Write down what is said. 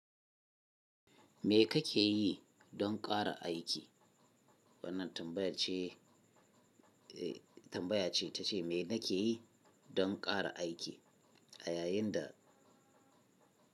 Me kake yi don ƙara aiki? Wannan tambaya ce, tambaya ce ta ce, me nake yi don ƙara aiki a yayin da.